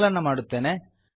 ಸಂಕಲನ ಮಾಡುತ್ತೇನೆ